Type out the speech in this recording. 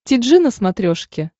ти джи на смотрешке